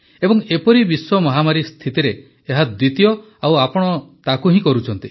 ଏବଂ ଏପରି ବିଶ୍ୱ ମହାମାରୀ ସ୍ଥିତିରେ ଏହା ଦ୍ୱିତୀୟ ଆଉ ତାକୁ ଆପଣ କରୁଛନ୍ତି